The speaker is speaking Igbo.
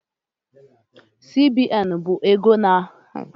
CBN bụ ọba ego na-ahụ maka ọbaego nile na Nijirịa